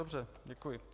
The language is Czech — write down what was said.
Dobře, děkuji.